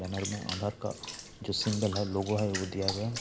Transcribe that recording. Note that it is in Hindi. बैनर में आधार का जो सिंबल है लोगो है वो दिया गया है।